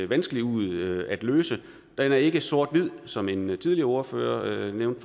vanskelig ud at løse den er ikke sort hvid som en tidligere ordfører nævnte